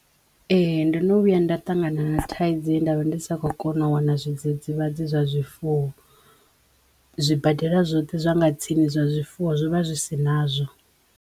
Ee. Ndo no vhuya nda ṱangana na thaidzo ye ndavha ndi sa kho kona u wana zwidzidzivhadzi zwa zwifuwo. Zwibadela zwoṱhe zwa nga tsini zwa zwifuwo zwo vha zwi si nazwo.